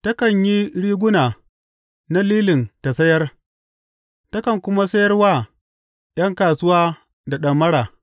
Takan yi riguna na lilin ta sayar; takan kuma sayar wa ’yan kasuwa da ɗamara.